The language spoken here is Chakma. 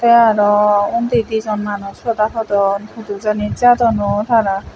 te araw undi dijon manuj hoda hodon hudu jani jadon oh tara.